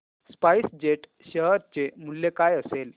spice jet share चे मूल्य काय असेल